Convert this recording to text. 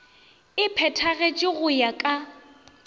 e phethagatšwe go ya ka